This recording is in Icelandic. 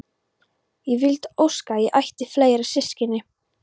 Ég vildi óska að ég ætti fleiri systkini.